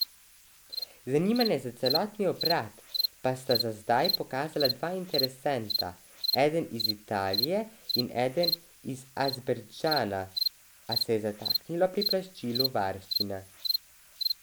Zanimanje za celotni obrat pa sta za zdaj pokazala dva interesenta, eden iz Italije in eden iz Azerbajdžana, a se je zataknilo pri plačilu varščine.